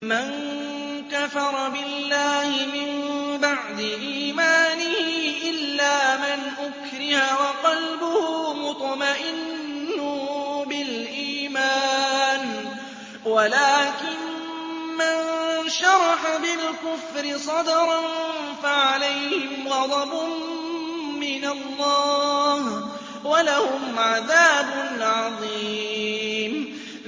مَن كَفَرَ بِاللَّهِ مِن بَعْدِ إِيمَانِهِ إِلَّا مَنْ أُكْرِهَ وَقَلْبُهُ مُطْمَئِنٌّ بِالْإِيمَانِ وَلَٰكِن مَّن شَرَحَ بِالْكُفْرِ صَدْرًا فَعَلَيْهِمْ غَضَبٌ مِّنَ اللَّهِ وَلَهُمْ عَذَابٌ عَظِيمٌ